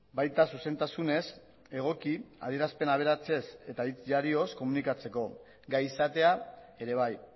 baita zuzentasunez egoki adierazpen aberatsez eta hitz jarioz komunikatzeko gai izatea ere bai